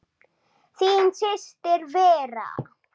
Þín systir Vera.